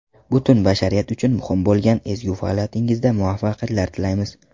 Butun bashariyat uchun muhim bo‘lgan ezgu faoliyatingizda muvaffaqiyatlar tilaymiz!